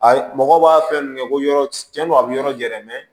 A ye mɔgɔw b'a fɛn kɛ ko yɔrɔ cɛn don a bi yɔrɔ jɛ dɛ